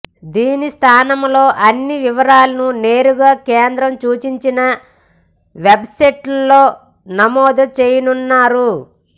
దీనిస్థానంలో అన్ని వివరాలను నేరుగా కేంద్రం సూచించిన వెబ్సైట్లో నమోదు చేయనున్నారు